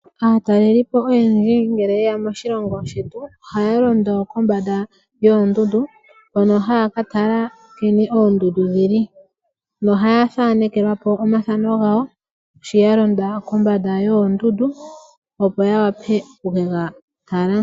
Aatalelipo oyendji ngele yeya moshilongo shetu ohaya londo kombanda yoondundu hono haya katala nkene oondundu dhili noha ya thanekelwapo omathano gawo sho ya londa kombanda yoondundu opo ya wape okukega tala.